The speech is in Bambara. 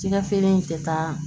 Jɛgɛ feere in tɛ taa